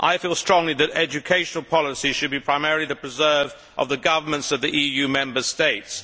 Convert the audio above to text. I feel strongly that educational policy should be primarily the preserve of the governments of the EU Member States.